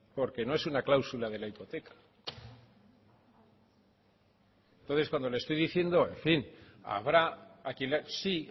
porque no es una cláusula de la hipoteca entonces cuando le estoy diciendo en fin habrá a quien sí